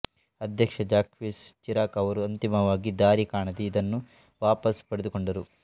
ಅಧ್ಯಕ್ಷಜಾಕ್ವೆಸ್ ಚಿರಾಕ್ಅವರು ಅಂತಿಮವಾಗಿ ದಾರಿ ಕಾಣದೇ ಇದನ್ನು ವಾಪಸ್ಸು ಪಡೆದುಕೊಂಡರು